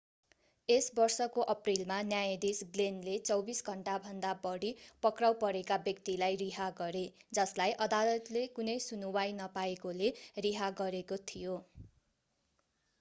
यस वर्षको अप्रिलमा न्यायाधीश ग्लेनले 24 घण्टाभन्दा बढी पक्राउ परेका व्यक्तिलाई रिहा गरे जसलाई अदालतले कुनै सुनुवाइ नपाएकोले रिहा गरेको थियो